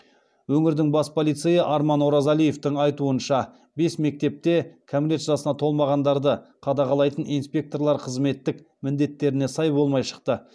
өңірдің бас полицейі арман оразалиевтің айтуынша бес мектепте кәмелет жасына толмағандарды қадағалайтын инспекторлар қызметтік міндетттеріне сай болмай шыққан